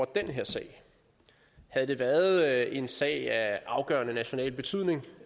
den her sag havde det været en sag af afgørende national betydning